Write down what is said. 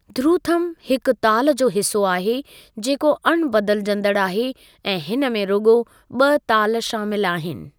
ध्रुथम हिकु ताल जो हिस्सो आहे जेको अणबदिलजंदड़ु आहे ऐं हिन में रुगो॒ ब॒ ताल शामिलु आहिनि।